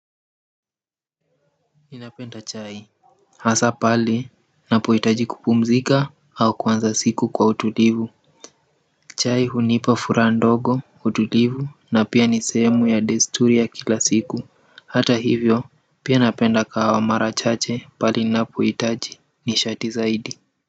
Ninapenda chai hasa pali napoitaji kupumzika au kuanza siku kwa utulivu chai hunipa fura ndogo utulivu na pia ni sehemu ya desturi ya kila siku hata hivyo pia napenda kahawa mara chache pale napoitaji ni shati zaidi.